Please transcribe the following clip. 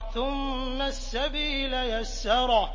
ثُمَّ السَّبِيلَ يَسَّرَهُ